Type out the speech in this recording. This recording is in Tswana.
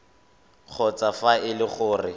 kgotsa fa e le gore